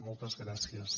moltes gràcies